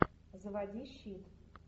заводи щит